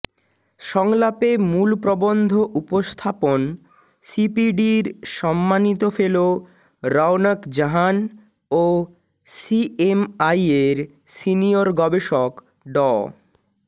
সংলাপে মূল প্রবন্ধ উপস্থাপন সিপিডির সম্মানিত ফেলো রওনক জাহান ও সিএমআই এর সিনিয়র গবেষক ড